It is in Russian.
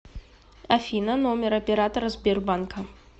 афина номер оператора сбербанка